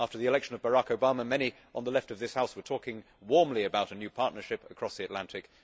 After the election of Barack Obama many on the Left of this House were talking warmly about a new partnership across the Atlantic.